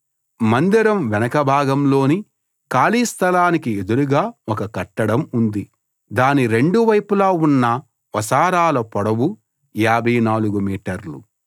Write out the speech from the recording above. మందిరం వెనక భాగంలోని ఖాళీ స్థలానికి ఎదురుగా ఒక కట్టడం ఉంది దాని రెండు వైపులా ఉన్న వసారాల పొడవు 54 మీటర్లు